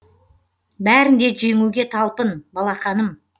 бәрін де жеңуге талпын балақаным